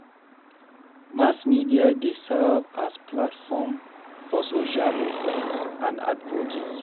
Mass media dey serve as platform for social movements and advocacy.